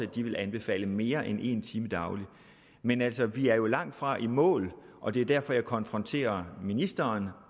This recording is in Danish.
de anbefale mere end en time dagligt men altså vi er jo langtfra i mål og det er derfor jeg konfronterer ministeren